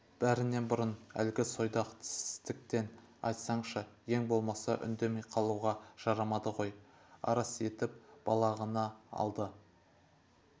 бәрінен бұрын әлгі сойдақ тістікін айтсаңшы ең болмаса үндемей қалуға жарамады ғой арс етіп балағынан алды